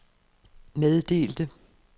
meddelte